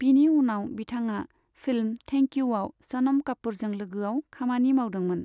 बिनि उनाव बिथाङा फिल्म 'थेंक इउ' आव सनम कापुरजों लोगोआव खामानि मावदोंमोन।